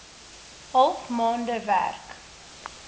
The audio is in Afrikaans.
half maande werk